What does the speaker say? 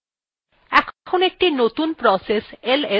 এখন একটি নতুন process ls তৈরি হয়ছে